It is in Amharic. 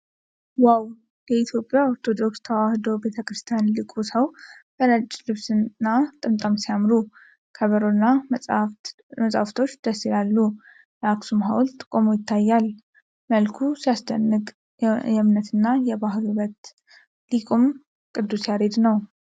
ዋው! የኢትዮጵያ ኦርቶዶክስ ተዋሕዶ ቤተ ክርስቲያን ሊቁ ሰው በነጭ ልብስና ጥምጣም ሲያምሩ! ከበሮና መጽሐፍቶች ደስ ይላሉ ። የአክሱም ሐውልት ቆሞ ይታያል። መልኩ ሲያስደንቅ! የእምነትና የባህል ውበት! ሊቁም ቅዱስ ያሬድ ነው።